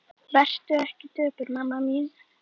Vertu ekki döpur mamma mín.